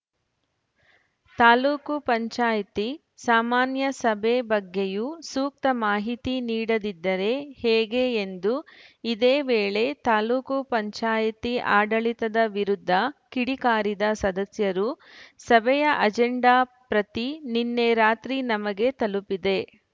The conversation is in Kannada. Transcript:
ತಾಲೂಕ್ ಪಂಚಾಯಿತಿ ಸಾಮಾನ್ಯ ಸಭೆ ಬಗ್ಗೆಯೂ ಸೂಕ್ತ ಮಾಹಿತಿ ನೀಡದಿದ್ದರೆ ಹೇಗೆ ಎಂದು ಇದೇ ವೇಳೆ ತಾಲೂಕ್ ಪಂಚಾಯ್ತಿ ಆಡಳಿತದ ವಿರುದ್ಧ ಕಿಡಿಕಾರಿದ ಸದಸ್ಯರು ಸಭೆಯ ಅಜೆಂಡಾ ಪ್ರತಿ ನಿನ್ನೆ ರಾತ್ರಿ ನಮಗೆ ತಲುಪಿದೆ